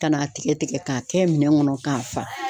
Ka n'a tigɛ tigɛ k'a kɛ minɛn kɔnɔ k'a fa.